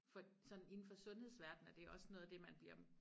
For sådan inde for sundhedsverden er det også noget af det man bliver